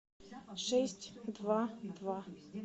шесть два два